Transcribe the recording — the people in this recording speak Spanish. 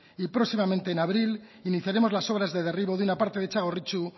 y próximamente en abril iniciaremos las obras de derribo de una parte de txagorritxu